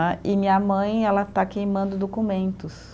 Né, e minha mãe ela está queimando documentos.